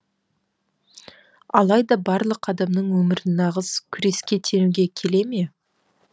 алайда барлық адамның өмірін нағыз күреске теңеуге келе ме